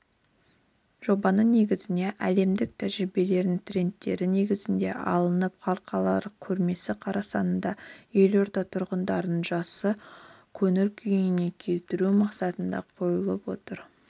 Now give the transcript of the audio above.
жобаның негізіне әлемдік тәжірибенің трендтері негізге алынып халықаралық көрмесі қарсаңында елорда тұрғындарын жақсы көңіл күйге келтіру мақсаты қойылып отыр